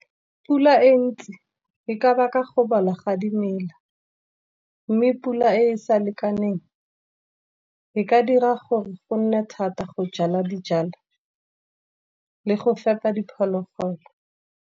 Pula e ntsi ke ka baka go bola ga dimela. Mme pula e sa lekaneng e ka dira gore go nne thata go jala dijalo, le go fepa diphologolo.